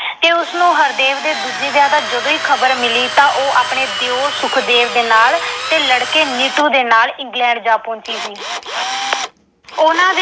ਤੇ ਉਸਨੂੰ ਹਰਦੇਵ ਦੇ ਦੂਜੇ ਵਿਆਹ ਦੀ ਜਦੋਂ ਈ ਖਬਰ ਮਿਲੀ ਤਾਂ ਉਦੋਂ ਹੀ ਉਹ ਆਪਣੇ ਦਿਉਰ ਸੁਖਦੇਵ ਤੇ ਲੜਕੇ ਨੀਟੂ ਦੇ ਨਾਲ England ਜਾ ਪਹੁੰਚੀ ਸੀ। ਉਹਨਾਂ ਦੇ